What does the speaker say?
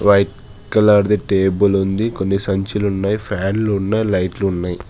White colour ది table ఉంది కొన్ని సంచులు ఉన్నాయి ఫ్యాన్లు ఉన్నాయి లైట్లు ఉన్నాయి.